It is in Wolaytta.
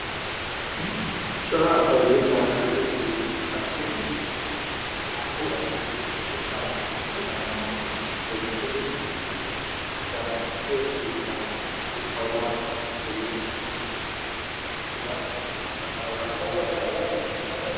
cora asay mitta qanxxidinne qassi naa''u asati mitta qanxxetidaaga gelissidi gaccissiyo mittaa xawulla oottide he sohuwan uttida asay baaga xawula kare kare kessees.